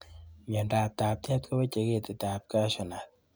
Miondab taptet koweche ketitab cashew nut